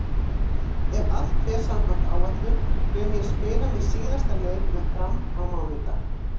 Ef allt fer samkvæmt áætlun mun ég spila minn síðasta leik með Fram á mánudag.